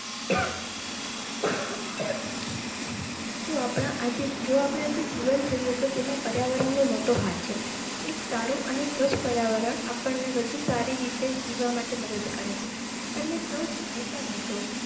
જો આપણા આજે જો આપને આજે જીવંત થયો તેમાં પર્યાવરણનો મોટો હાથ છે એક સારું અને સ્વચ્છ પર્યાવરણ આપણને વધુ સારી રીતે જીવવા માટે મદદ કરેં છે તમે સૌ જાણીતા હશો.